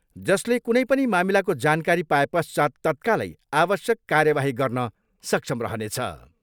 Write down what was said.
जसले कुनै पनि मामिलाको जानकारी पाएपश्चात् तत्कालै आवश्यक कार्यावाही गर्न सक्षम रहनेछ।